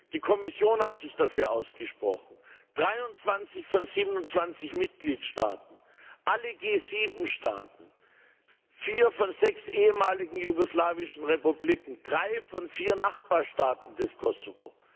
Die Kommission hat sich dafür ausgesprochen, 23 von 27 Mitgliedstaaten, alle G7 Staaten, vier von sechs ehemaligen jugoslawischen Republiken, drei von vier Nachbarstaaten des Kosovo.